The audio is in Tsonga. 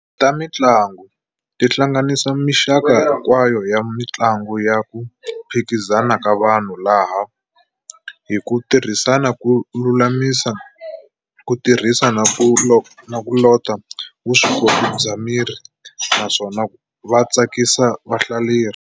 Tamintlangu ti hlanganisa minxaka hikwayo ya mintlangu ya ku phikizana ka vanhu laha, hi kutirhisa ku lulamisa, ku tirhisa, na ku lota vuswikoti bya miri naswona va tsakisa vahlaleri.